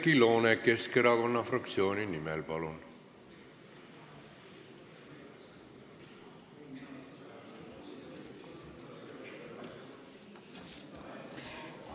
Oudekki Loone Keskerakonna fraktsiooni nimel, palun!